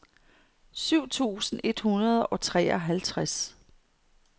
syv tusind et hundrede og treoghalvtreds